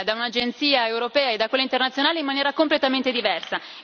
da un'agenzia europea e da quella internazionale in maniera completamente diversa.